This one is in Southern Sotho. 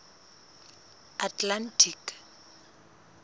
atlantic